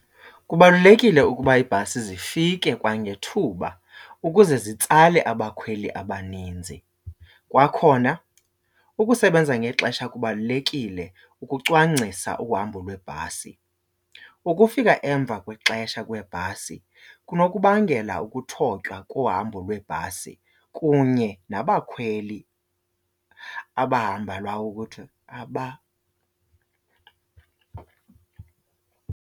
Kubalulekile ukuba iibhasi zifike kwangethuba ukuze zitsale abakhweli abaninzi. Kwakhona ukusebenza ngexesha kubalulekile ukucwangcisa uhambo lweebhasi. Ukufika emva kwexesha kweebhasi kunokubangela ukuthotywa kohambo lweebhasi kunye nabakhweli abahamba ukuthi .